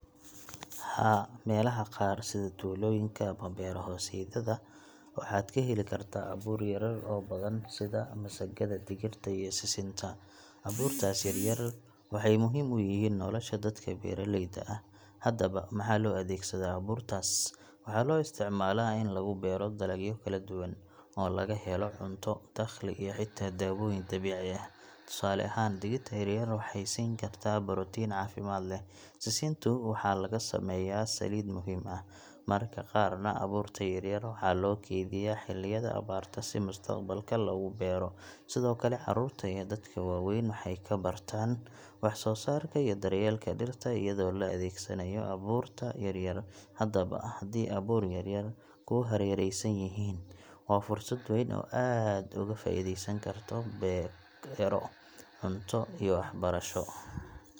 Haa, meelaha qaar sida tuulooyinka ama beero hoosaadyada, waxaad ka heli kartaa abuur yaryar oo badan sida masagada, digirta, iyo sisinta. Abuurtaas yaryar waxay muhiim u yihiin nolosha dadka beeraleyda ah. Haddaba, maxaa loo adeegsadaa abuurtaas? Waxaa loo isticmaalaa in lagu beero dalagyo kala duwan, oo laga helo cunto, dakhli, iyo xitaa dawooyin dabiici ah. Tusaale ahaan, digirta yaryar waxay siin kartaa borotiin caafimaad leh. Sisintu waxay laga sameeyaa saliid muhiim ah. Mararka qaarna, abuurta yaryar waxaa loo keydiyaa xilliyada abaarta si mustaqbalka loogu beero. Sidoo kale, carruurta iyo dadka waaweyn waxay ku bartaan wax-soo-saarka iyo daryeelka dhirta iyadoo la adeegsanayo abuurta yaryar. Haddaba haddii abuur yaryar kugu hareeraysan yihiin, waa fursad weyn oo aad uga faa'iideysan karto beero, cunto, iyo waxbarasho.